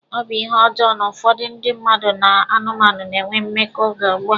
Ọ bụ ihe ọjọọ na ụfọdụ ndị mmadụ na anụmanụ na-enwe mmekọ oge ugbua.